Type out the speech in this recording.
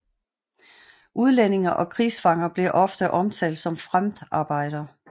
Udlændinge og krigsfanger blev ofte omtalt som Fremdarbeiter